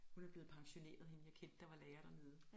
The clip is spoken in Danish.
Hun er blevet pensioneret hende jeg kendte der var lærer dernede